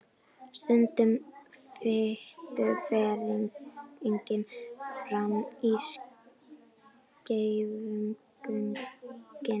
Sundrun fitu fer einnig fram í skeifugörninni.